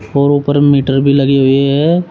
और ऊपर मीटर भी लगे हुए है।